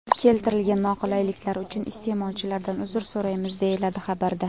Keltirilgan noqulayliklar uchun iste’molchilardan uzr so‘raymiz, deyiladi xabarda.